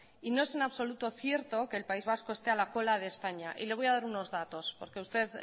y no es en absoluto cierto que el país vacó esté a la cola de españa y le voy a dar unos datos porque a usted